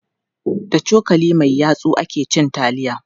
Da cokali mai yatsu ake cin taliya.